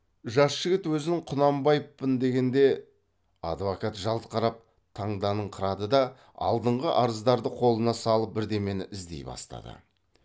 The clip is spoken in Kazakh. жас жігіт өзін құнанбаевпын дегенде адвокат жалт қарап таңданыңқырады да алдыңғы арыздарды қолына алып бірдемені іздей бастады